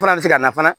Fana bɛ se ka na fana